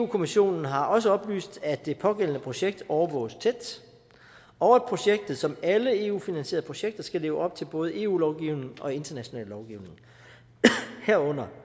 kommissionen har også oplyst at det pågældende projekt overvåges tæt og at projektet som alle eu finansierede projekter skal leve op til både eu lovgivning og international lovgivning herunder